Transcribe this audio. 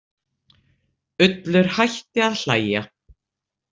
Ullur hætti að hlæja.